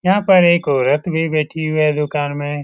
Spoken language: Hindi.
यहां पर एक औरत भी बैठी हुई है दुकान में ।